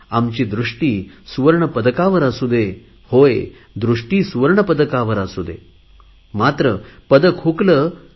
आमची दृष्टी सुवर्ण पदकावर असू दे मात्र पदक हुकले तरी